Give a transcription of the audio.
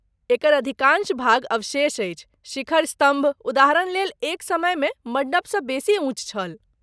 एकर अधिकाँश भाग अवशेष अछि, शिखर स्तम्भ, उदाहरणलेल, एक समयमे मण्डपसँ बेसी ऊँच छल।